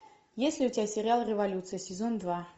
есть ли у тебя сериал революция сезон два